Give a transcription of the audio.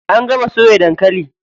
An gama soya dankali.